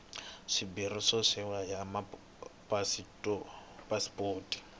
swimbirhi swa sayizi ya pasipoto